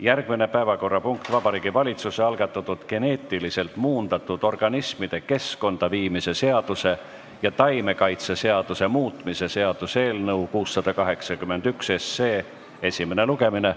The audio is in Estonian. Järgmine päevakorrapunkt on Vabariigi Valitsuse algatatud geneetiliselt muundatud organismide keskkonda viimise seaduse ja taimekaitseseaduse muutmise seaduse eelnõu 681 esimene lugemine.